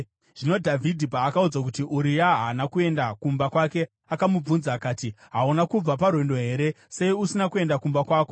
Zvino Dhavhidhi paakaudzwa kuti, “Uria haana kuenda kumba kwake,” akamubvunza akati, “Hauna kubva parwendo here? Sei usina kuenda kumba kwako?”